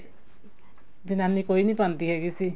ਜਨਾਨੀ ਕੋਈ ਨੀ ਪਾਉਂਦੀ ਹੈਗੀ ਸੀ